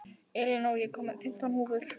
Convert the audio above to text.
Elinór, ég kom með fimmtán húfur!